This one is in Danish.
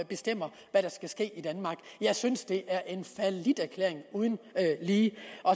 bestemmer hvad der skal ske i danmark jeg synes det er en falliterklæring uden lige